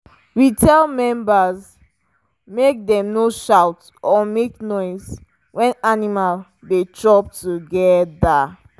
we tell members make dem no shout or make noise when animal dey chop together.